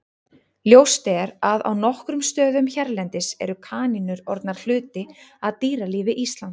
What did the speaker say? Ljóst er að á nokkrum stöðum hérlendis eru kanínur orðnar hluti af dýralífi Íslands.